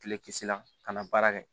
Kile kisi la ka na baara kɛ